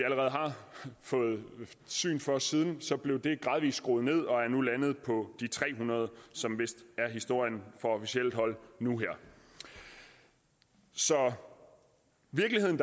fået syn for siden blev det gradvis skruet ned og er nu landet på de tre hundrede som vist er historien fra officielt hold nu så virkeligheden